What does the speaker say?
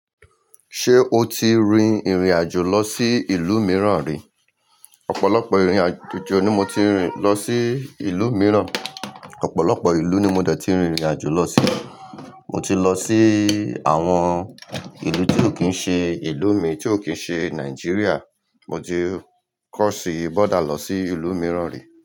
Ṣé o ti rin ìrìn-àjò lọ sí ìlú mìíràn rí? Ọ̀pọ̀lọpọ̀ ìrìn-àjò ni mo ti rin lọ sí ìlú mìíràn. Ọ̀pọ̀lọpọ̀ ìlú ni mo de ti rìn ìrìn-àjò lọ sí. Mo ti lọ sí àwọn ìlú tí ò kí ń ṣe ìlú mi, tí ò kí ń ṣe Nigeria. Mo ti cross border lọ sí ìlú mìíràn rí.